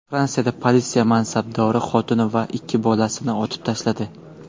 Fransiyada politsiya mansabdori xotini va ikki bolasini otib tashladi.